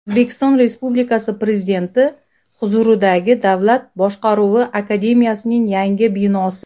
O‘zbekiston Respublikasi Prezidenti huzuridagi Davlat boshqaruvi akademiyasining yangi binosi.